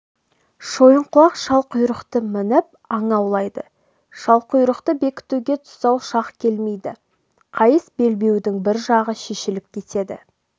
шойынқұлақ шалқұйрықты мініп аң аулайды шалқұйрықты бекітуге тұсау шақ келмейді қайыс белбеудің бір жағы шешіліп кетеді